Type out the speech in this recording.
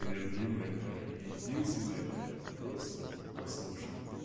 любимая моя единственная моя просто послушай